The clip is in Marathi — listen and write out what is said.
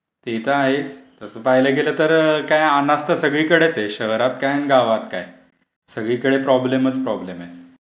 ते तर आहेच. तसं पाहायला गेलं तर काय अनावस्था सगळीकडेच आहे शहरात काय आणि गावात काय, सगळीकडे प्रॉब्लेमच प्रॉब्लेम आहे.